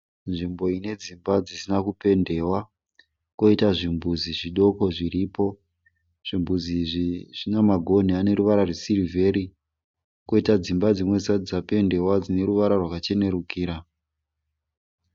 Nzvimbo ine dzimba dzisina kupendewa. Kwoita zvimbudzi zvidoko zviripo. Zvimbudzi izvi zvina magonhi ane ruvara rwesirivheri kwoita dzimba dzimwe dzisati dzapendiwa dzine ruvara rwakachenerukira.